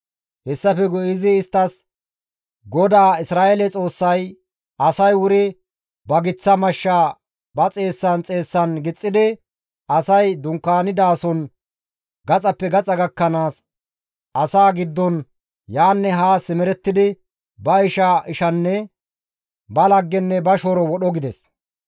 Hessafe guye izi isttas, «GODAA Isra7eele Xoossay, ‹Asay wuri ba giththa mashsha ba xeessan xeessan gixxidi asay dunkaanidason gaxappe gaxa gakkanaas, asaa giddon yaanne haa simerettidi ba isha, ba laggenne ba shooro wodho› » gides.